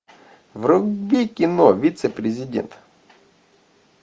вруби кино вице президент